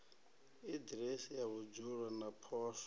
aḓiresi ya vhudzulo na poswo